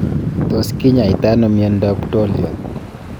Tos kinyaitaa anoo miondop twolyot?